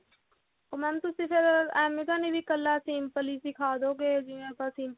ਉਹ mam ਤੁਸੀਂ ਫਿਰ ਐਵੇਂ ਤਾਂ ਨਹੀਂ ਇੱਕਲਾ simple ਹੀ ਸਿਖਾਦੋ ਗੇ ਜਿਵੇਂ ਆਪਾਂ simple